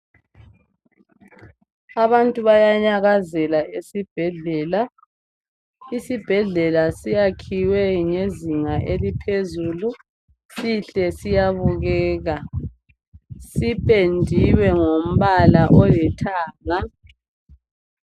Abantu bayanyakazela esibhedlela isibhedlela sakhiwe ngezinga eziphezulu sihle siyabukeka sipendiwe ngombala olithanga